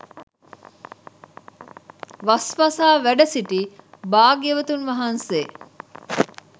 වස් වසා වැඩසිටි භාග්‍යවතුන් වහන්සේ